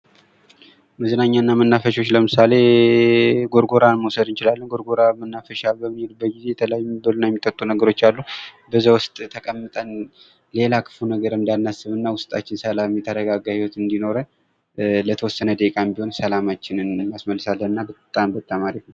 መዝናኛና መናፈሻዎች ለምሳሌ ጎርጎራን መውሰድ እንችላለን ፤ ጎርጎራ መናፈሻ በምንሄድበት ጊዜ የተለያዩ የሚበሉ እና የሚጠጡ ነገሮች አሉ ፤ በዛ ውስጥ ተቀምጠን ሌላ ክፉ ነገር እንዳናስብ እና ውስጣችን ሰላም እንዲሆን፥ የተረጋጋ ህይወት እንዲኖረን ለተወሰነ ደቂቃም ቢሆን ሰላማችንን ይመልስልናል እና በጣም በጣም አሪፍ ነው።